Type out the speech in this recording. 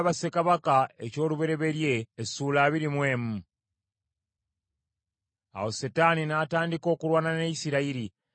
Awo Setaani n’atandika okulwana ne Isirayiri, Dawudi n’asendebwasendebwa okubala Abayisirayiri.